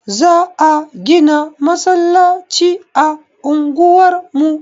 Za a gina masallaci a unguwar mu.